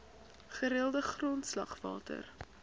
gereelde grondslag water